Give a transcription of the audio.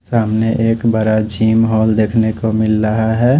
सामने एक बड़ा जिम हॉल देखने को मिल रहा है।